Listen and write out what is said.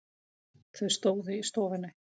Þau stóðu í stofunni.